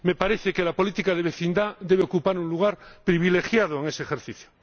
Me parece que la política de vecindad debe ocupar un lugar privilegiado en ese ejercicio.